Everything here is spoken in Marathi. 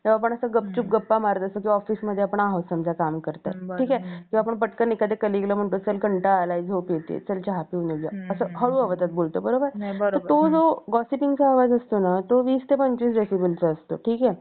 तर आपण असं गपचूप गप्पा मारत असतो म्हणजे आपण office मध्ये आहोत समजा ठीक आहे तेव्हा आपण पटकन एखाद्या कलीगला चल कंटाळा आलाय झोप येते चल चहा पिऊन घेऊया असं हळू आवाजात बोलतो तर तो जो gossiping चा आवाज असतो तो वीस ते पंचवीस Decibel चा असतो ठीक आहे